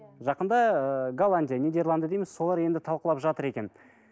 жақында ыыы голландия нидерланды дейміз солар енді талқылап жатыр екен